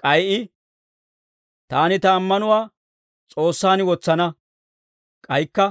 K'ay I, «Taani ta ammanuwaa S'oossaan wotsana» k'aykka,